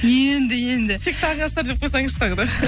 енді енді тек таңғы астар деп қойсаңызшы тағы да